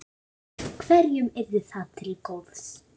Hverjum yrði það til góðs?